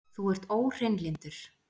Þú ert óhreinlyndur!